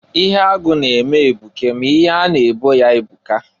Ihe agụ na-eme ebuke m'ihe a na-ebo ya ebuka.